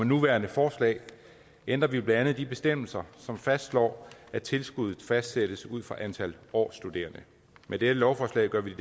nuværende forslag ændrer vi blandt andet de bestemmelser som fastslår at tilskuddet fastsættes ud fra antal årsstuderende med dette lovforslag gør vi